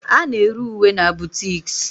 A na-ere uwe na boutiques